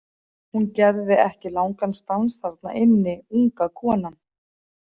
Hún gerði ekki langan stans þarna inni, unga konan.